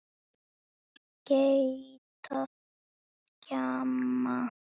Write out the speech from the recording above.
Gelta, gjamma.